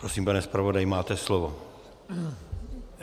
Prosím, pane zpravodaji, máte slovo.